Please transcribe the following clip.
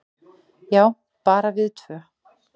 """Já, bara við tvö."""